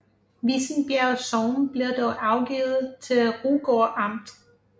Vissenbjerg Sogn blev dog afgivet til Rugård Amt